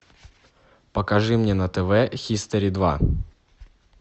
покажи мне на тв хистори два